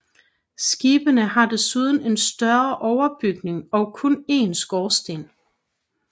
Skibene har en desuden en større overbygning og kun en skorsten